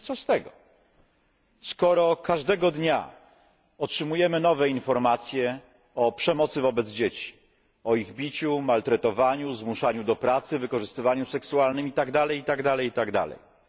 I co z tego, skoro każdego dnia otrzymujemy nowe informacje o przemocy wobec dzieci, o ich biciu, maltretowaniu, zmuszaniu do pracy, wykorzystywaniu seksualnym itd.,